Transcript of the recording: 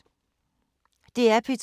DR P2